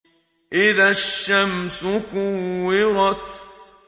إِذَا الشَّمْسُ كُوِّرَتْ